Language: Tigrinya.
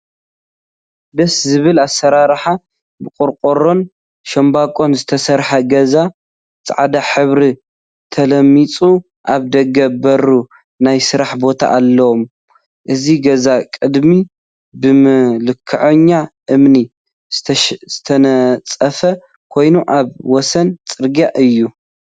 ደስ ዝብል አሰራርሓ! ብቆርቆሮን ሻምበቆን ዝተሰርሐ ገዛ ፃዕዳ ሕብሪ ተለሚፁ አብ ደገ በሩ ናይ ስራሕ ቦታ አለዎ፡፡ እዚ ገዛ ቅድሚ ብመልክዐኛ እምኒ ዝተነፀፈ ኮይኑ፤ አብ ወሰን ፅርግያ እዩ፡፡